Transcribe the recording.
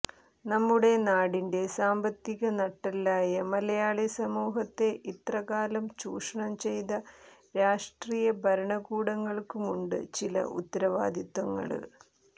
നമ്മുടെ നാടിന്റെ സാമ്പത്തിക നട്ടെല്ലായ മലയാളി സമൂഹത്തെ ഇത്രകാലവും ചൂഷണം ചെയ്ത രാഷ്ട്രീയ ഭരണകൂടങ്ങള്ക്കുമുണ്ട് ചില ഉത്തരവാദിത്വങ്ങള്